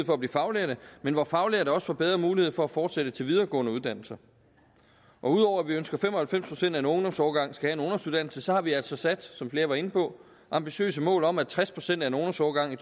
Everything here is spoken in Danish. for at blive faglærte men hvor faglærte også får bedre mulighed for at fortsætte til videregående uddannelser ud over at vi ønsker at fem og halvfems procent af en ungdomsårgang skal have en ungdomsuddannelse har vi altså sat som flere var inde på ambitiøse mål om at tres procent af en ungdomsårgang i